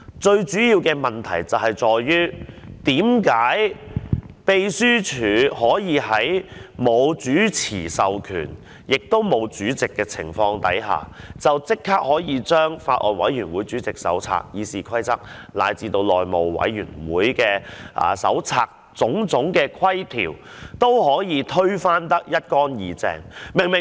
最主要的問題在於，為甚麼秘書處可以在沒有主持的議員授權，亦在沒有選出主席的情況下，可以立即將《法案委員會主席手冊》、《議事規則》，乃至內務委員會《內務守則》下的種種規條，都推得一乾二淨。